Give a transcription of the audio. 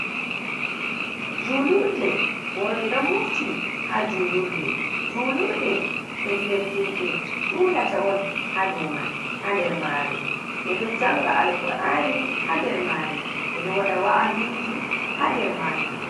Julurɗe worbe ɗon mofti ha julurɗe. julurɗe pellel himbe julata on ha ɗowman ha dermarei l. Beɗo janga alkur'ani ha ɗermare ɓeɗo waɗa wa'aziji ha ɗermajum.